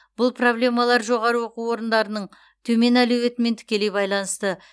бұл проблемалар жоғары оқу орындарының төмен әлеуетімен тікелей байланысты